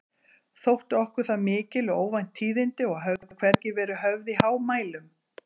Þóttu okkur það mikil og óvænt tíðindi og höfðu hvergi verið höfð í hámælum.